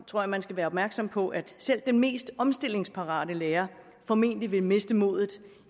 tror at man skal være opmærksom på at selv den mest omstillingsparate lærer formentlig vil miste modet